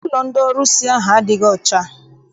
Ụlọ ndị ọrụsị ahụ adịghị ọcha.